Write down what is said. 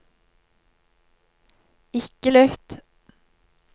ikke lytt